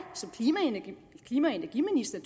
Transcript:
som klima og energiminister